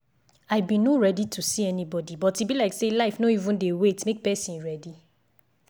i been no ready to see anybody but e be like say life no even dey wait make person ready.